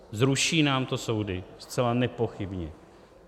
Zruší nám to soudy, zcela nepochybně.